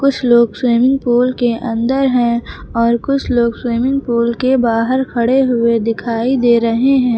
कुछ लोग swimming pool के अंदर हैं और कुछ लोग स्विमिंग पूल के बाहर खड़े हुए दिखाई दे रहे हैं।